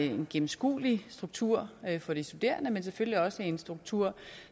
en gennemskuelig struktur for de studerende men selvfølgelig også en struktur